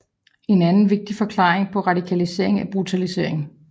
En anden vigtig forklaring på radikaliseringen er brutalisering